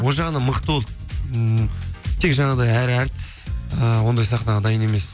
ол жағынан мықты болды ммм тек жаңағыдай әр әртіс ііі ондай сахнаға дайын емес